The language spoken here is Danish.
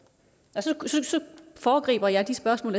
og så foregriber jeg de spørgsmål